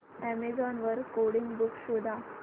Amazon वर coding books शोधा